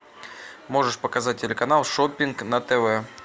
можешь показать телеканал шоппинг на тв